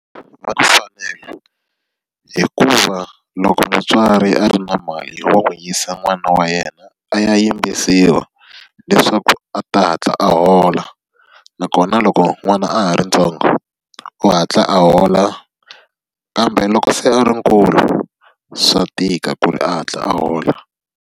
hikuva loko mutswari a ri na mali wa n'wi yisa n'wana wa yena a ya yimbisiwa, leswaku a ta hatla a hola. Nakona loko n'wana a ha ri ntsongo, u hatla a hola kambe loko se a ri nkulu swa tika ku ri a hatla a hola.